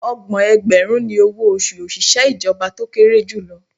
Ọgbọ̀n ẹgbẹ̀rún ni owó oṣù òṣìṣẹ́ ìjọba tó kéré jù lọ